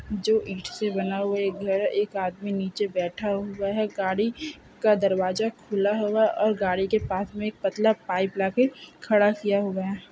जो ईट से बना हुआ एक घर है एक आदमी निचे बेठा हुआ है गाडी का दरबाजा खुला हुआ-- और गाड़ी के पास में एक पतला पाइप ले के खड़ा किया हुआ है।